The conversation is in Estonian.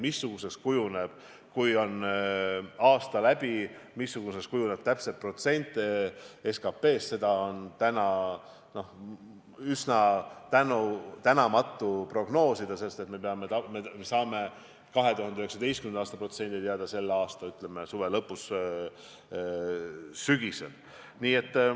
Missuguseks kujuneb täpselt protsent SKT-st siis, kui aasta on läbi, seda on täna üsna tänamatu prognoosida, sest me saame 2019. aasta protsendid teada, ütleme, selle aasta suve lõpus või sügisel.